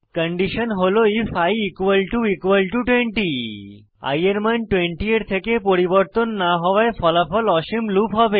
condition হল if i 20 i এর মান 20 এর থেকে পরিবর্তন না হওয়ায় ফলাফল অসীম লুপ হবে